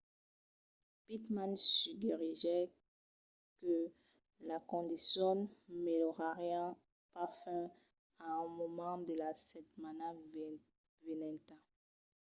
pittman suggeriguèt que las condicions melhorarián pas fins a un moment de la setmana venenta